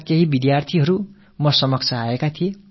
அலீகரைச் சேர்ந்த சில மாணவர்கள் என்னை வந்து சந்தித்தார்கள்